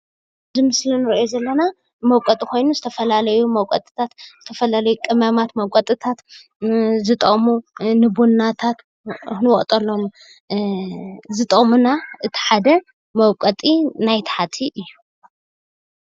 እዚምስሊ እነሪኦም ዘለና መውቀጢ ዝተፈላለዩ መውቀጢ ታት ዝተፈላለዩ ቅመማት መውቀጢትታ ዝጠቅሙ ንቡናታት መውቀጢታት ዝጠቅሙ እቲ ሓደ መውቀጢናይ ታሕቲ እዩ፡፡